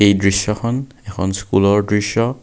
এই দৃশ্যখন এখন স্কুলৰ দৃশ্য।